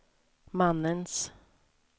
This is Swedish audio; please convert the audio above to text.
mannens